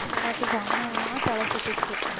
எனக்கு செம்மையா தலை சுத்துச்சு